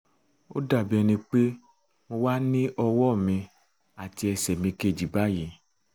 ó dàbí ẹni pé ó wà ní ọwọ́ mi àti ẹsẹ̀ mi kejì báyìí